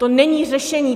To není řešení.